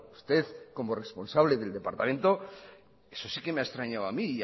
usted como responsable del departamento eso sí que me ha extrañado a mí